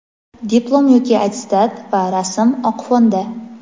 diplom yoki attestat va rasm(oq fonda).